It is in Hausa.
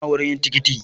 Ina wurin yin tikitin